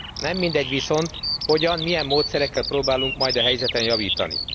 Nem mindegy viszont hogyan, milyen módszerekkel próbálunk majd a helyzeten javítani.